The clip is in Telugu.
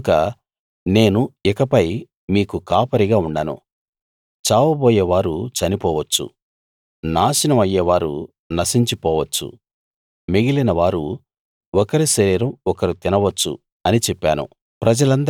కనుక నేను ఇకపై మీకు కాపరిగా ఉండను చావబోయేవారు చనిపోవచ్చు నాశనం అయ్యేవారు నశించిపోవచ్చు మిగిలిన వారు ఒకరి శరీరం ఒకరు తినవచ్చు అని చెప్పాను